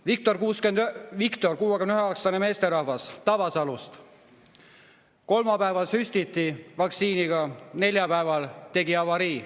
Viktor, 69‑aastane meesterahvas Tabasalust: kolmapäeval süstiti vaktsiini, neljapäeval tegi avarii.